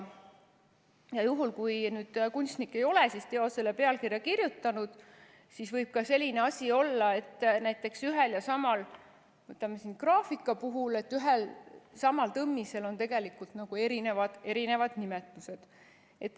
Ja juhul, kui kunstnik ei ole teosele pealkirja kirjutanud, siis võib ka selline asi olla, näiteks graafika puhul, et ühe ja sama tõmmistel on erinevad nimetused.